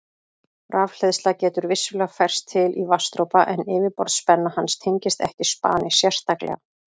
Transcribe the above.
Rafhleðsla getur vissulega færst til í vatnsdropa en yfirborðsspenna hans tengist ekki spani sérstaklega.